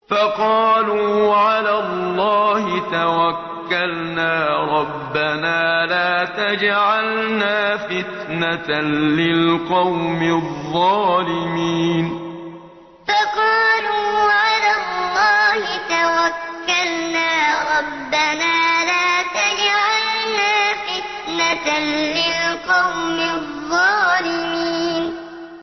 فَقَالُوا عَلَى اللَّهِ تَوَكَّلْنَا رَبَّنَا لَا تَجْعَلْنَا فِتْنَةً لِّلْقَوْمِ الظَّالِمِينَ فَقَالُوا عَلَى اللَّهِ تَوَكَّلْنَا رَبَّنَا لَا تَجْعَلْنَا فِتْنَةً لِّلْقَوْمِ الظَّالِمِينَ